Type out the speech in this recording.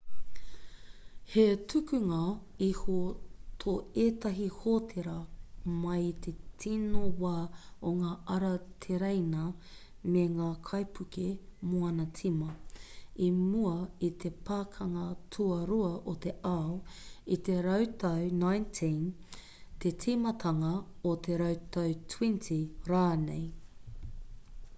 he tukunga iho tō ētahi hōtēra mai i te tino wā o ngā ara tereina me ngā kaipuke moana tīma i mua i te pakanga tuarua o te ao i te rautau 19 te tīmatanga o te rautau 20 rānei